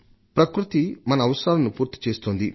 ప్రకృతి మన అవసరాలను నెరవేరుస్తోంది